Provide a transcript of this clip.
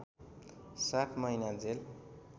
सात महिना जेल